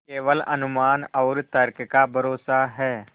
केवल अनुमान और तर्क का भरोसा है